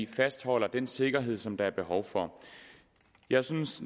fastholder den sikkerhed som der er behov for jeg synes